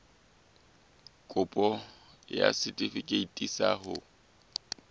kopo ya setefikeiti sa ho